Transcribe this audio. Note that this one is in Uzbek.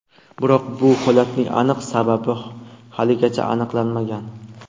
Biroq bu holatning aniq sababi haligacha aniqlanmagan.